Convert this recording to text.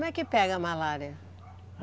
Como é que pega a malária?